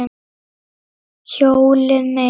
Hjólið mitt!